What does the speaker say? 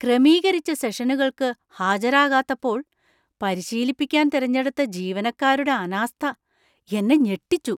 ക്രമീകരിച്ച സെഷനുകൾക്ക് ഹാജരാകാത്തപ്പോൾ പരിശീലിപ്പിക്കാന്‍ തിരഞ്ഞെടുത്ത ജീവനക്കാരുടെ അനാസ്ഥ എന്നെ ഞെട്ടിച്ചു.